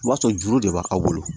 O b'a sɔrɔ juru de b'aw bolo